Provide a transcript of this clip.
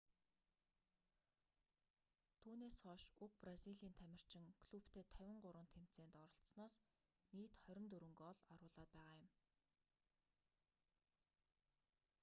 түүнээс хойш уг бразилийн тамирчин клубтээ 53 тэмцээнд оролсоноос нийт 24 гоол оруулаад байгаа юм